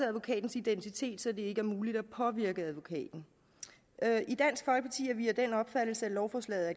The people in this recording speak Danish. advokatens identitet så det ikke er muligt at påvirke advokaten i vi af den opfattelse at lovforslaget